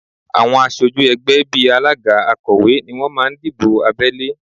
Àwọn aṣojú ẹgbẹ́ bí alága, akọ̀wé ni wọ́n máa ń dìbò abẹ́lé